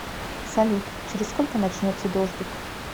салют через сколько начнется дождик